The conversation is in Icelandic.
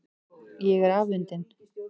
Ég er afundin.